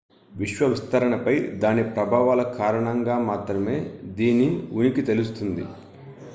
విశ్వ విస్తరణపై దాని ప్రభావాల కారణంగా మాత్రమే దీని ఉనికి తెలుస్తుంది